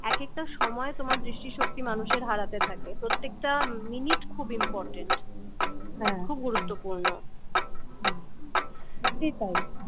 এক একটা সময় তোমার দৃষ্টিশক্তি মানুষের হারাতে থাকে প্রত্যেকটা মিনিট খুব ইমপর্ট্যান হম খুব গুরুত্বপূ হম